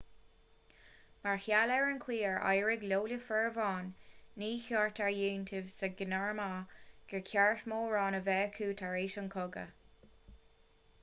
mar gheall ar an gcaoi ar éirigh leo le fomhuireáin ní chuirtear iontaoibh sna gearmánaigh gur ceart mórán a bheith acu tar éis an chogaidh